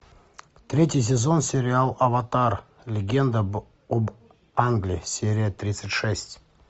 третий сезон сериал аватар легенда об аанге серия тридцать шесть